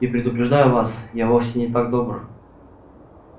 и предупреждаю вас я вовсе не так добр